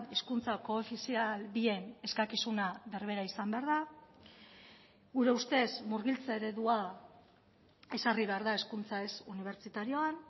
hizkuntza koofizial bien eskakizuna berbera izan behar da gure ustez murgiltze eredua ezarri behar da hezkuntza ez unibertsitarioan